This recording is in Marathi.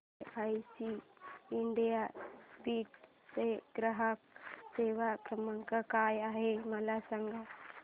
एलआयसी इंडिया बीड चा ग्राहक सेवा क्रमांक काय आहे मला सांग